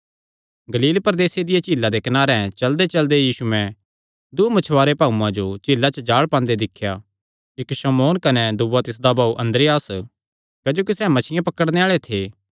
गलील प्रदेसे दिया झीला दे कनारे चलदेचलदे यीशुयैं दूँ मछुवारे भाऊआं जो झीला च जाल़ पांदे दिख्या इक्क शमौन कने दूआ तिसदा भाऊ अन्द्रियास क्जोकि सैह़ मच्छियां पकड़णे आल़े थे